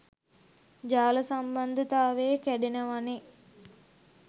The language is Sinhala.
ජාල සම්බන්ධතාවෙ කැඩෙනවනේ.